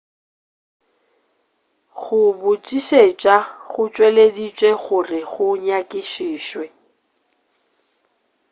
go botšišetša go tšweleditšwe gore go nyakišišwe